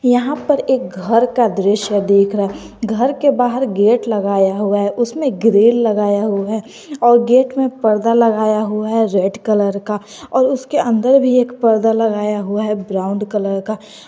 यहां पर एक घर का दृश्य देख रहा है घर के बाहर गेट लगाया हुआ है उसमें ग्रील लगाया हुआ है और गेट में परदा लगाया हुआ है रेड कलर का और उसके अंदर भी एक परदा लगाया हुआ है ब्राउन कलर का।